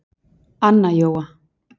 Anna Jóa.